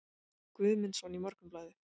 Guðmundsson í Morgunblaðið.